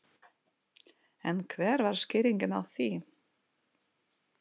En hver var skýringin á því?